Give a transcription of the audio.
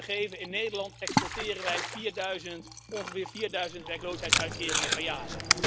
Om een voorbeeld te geven in Nederland exporteren wij ongeveer vierduizend werkloosheidsuitkeringen per jaar.